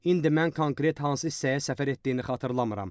İndi mən konkret hansı hissəyə səfər etdiyini xatırlamıram.